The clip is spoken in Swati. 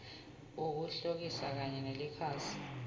ukhokhile kanye nelikhasi